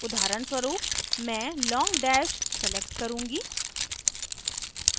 उदाहरण स्वरुपमैं long dash long dash select करुँगी